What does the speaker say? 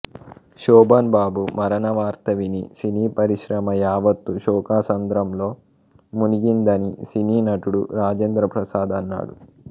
శోభన్ బాబు మరణ వార్త విని సినీ పరిశ్రమ యావత్తు శోకసముద్రంలో మునిగిందని సినీ నటుడు రాజేంద్రప్రసాద్ అన్నాడు